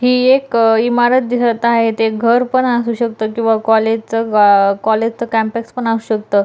ही एक इमारत दिसत आहे ते घर पण असू शकत किवा कॉलेजच ग कॉलेज च कॅम्पस पण असू शकत.